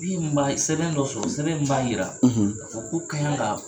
Bi ma ye sɛbɛn dɔ sɔrɔ, sɛbɛn min b'a yira, ka fɔ k'u kaɲan kaa